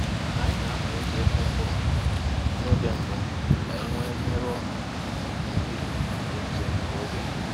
Anyị na-amalite ịkụ mkpụrụ n’oge mbụ ka anyị wee merụọ mbibi mmiri ozuzo nke oge